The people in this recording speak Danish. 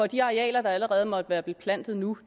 de arealer der allerede måtte være beplantet nu